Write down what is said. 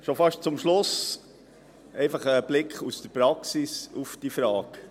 Schon fast zum Schluss ein Blick aus der Praxis auf diese Frage.